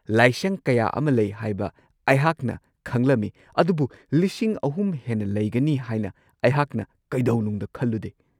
ꯂꯥꯏꯁꯪ ꯀꯌꯥ ꯑꯃ ꯂꯩ ꯍꯥꯏꯕ ꯑꯩꯍꯥꯛꯅ ꯈꯪꯂꯝꯃꯤ ꯑꯗꯨꯕꯨ ꯳꯰꯰꯰ ꯍꯦꯟꯅ ꯂꯩꯒꯅꯤ ꯍꯥꯏꯅ ꯑꯩꯍꯥꯛꯅ ꯀꯩꯗꯧꯅꯨꯡꯗ ꯈꯜꯂꯨꯗꯦ꯫